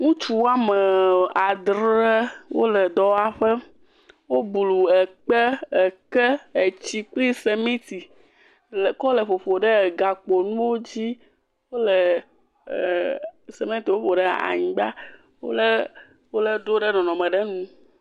Ŋutsu wɔme adre wole dɔwɔƒe woblu ekpe, eke, etsi kple simiti le kɔ le ƒoƒo ɖe gakpo nuwo dzi. Wole e simitiwo ƒo ɖe anyigba kple wole ɖom ɖe nɔnɔme aɖe nu.